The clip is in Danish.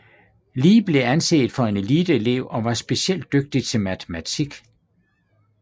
Lee blev anset for en eliteelev og var specielt dygtig til matematik